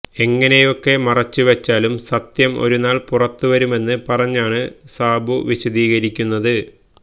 എങ്ങനെയൊക്കെ മറച്ചുവച്ചാലും സത്യം ഒരുനാൾ പുറത്തുവരുമെന്ന് പറഞ്ഞാണ് സാബു വിശദീകരിക്കുന്നത്